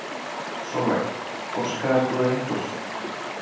Sólveig: Óskaðir þú þér einhvers?